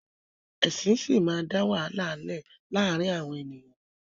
Ẹ̀sìn síí máa da wàhálà lẹ laarin awọn eniyan